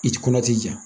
I ti kɔnɔ ti ja